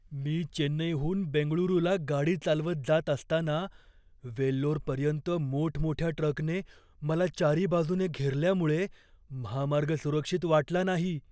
मी चेन्नईहून बेंगळुरूला गाडी चालवत जात असताना वेल्लोरपर्यंत मोठमोठ्या ट्रकने मला चारीबाजूने घेरल्यामुळे महामार्ग सुरक्षित वाटला नाही.